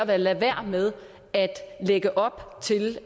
at lade være med at lægge op til